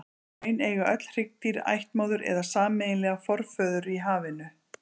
Í raun eiga öll hryggdýr ættmóður eða sameiginlegan forföður í hafinu.